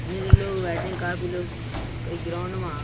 मेरे लोग बैठे हैं काफी लोग कई ग्राउंड में आ --